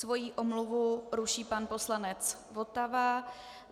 Svoji omluvu ruší pan poslanec Votava.